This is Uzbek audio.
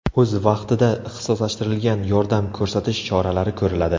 O‘z vaqtida ixtisoslashtirilgan yordam ko‘rsatish choralari ko‘riladi.